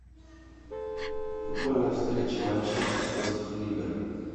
футбольная встреча манчестер против ливер